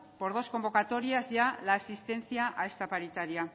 por dos convocatorias ya la asistencia a esta paritaria